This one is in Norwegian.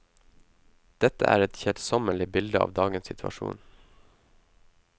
Dette er et kjedsommelig bilde av dagens situasjon.